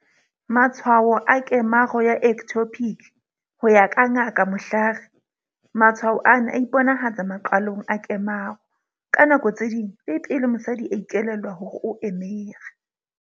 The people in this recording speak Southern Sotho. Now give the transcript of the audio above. Matshwao a kemaro ya ectopic. Ho ya ka Ngaka Mhlari, matshwao ana a iponahatsa maqalong a kemaro. Ka nako tse ding, le pele mosadi a ikelellwa hore o emere.